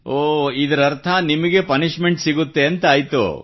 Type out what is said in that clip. ನಗುತ್ತಾ ಇದರರ್ಥ ನಿಮಗೆ ಪನಿಶ್ಮೆಂಟ್ ಸಿಗುತ್ತೆ ಎಂದಾಯಿತು